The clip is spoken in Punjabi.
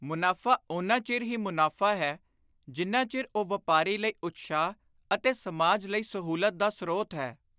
ਮੁਨਾਫ਼ਾ ਓਨਾ ਚਿਰ ਹੀ ਮੁਨਾਫ਼ਾ ਹੈ ਜਿੰਨਾ ਚਿਰ ਉਹ ਵਾਪਾਰੀ ਲਈ ਉਤਸ਼ਾਹ ਅਤੇ ਸਮਾਜ ਲਈ ਸਹੂਲਤ ਦਾ ਸ਼੍ਤ ਹੈ।